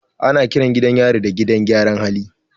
Ana kiran gidan yari gidan gyaran hali.